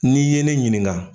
Ni ye ne ɲininka